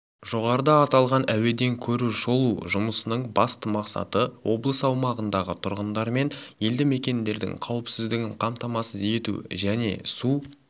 жоғарыда аталған әуеден көру-шолу жұмысының басты мақсаты облыс аумағындағы тұрғындармен елді-мекендердің қауіпсіздігін қамтамасыз ету және су